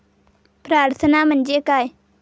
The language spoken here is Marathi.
प्रार्थना म्हणजे काय?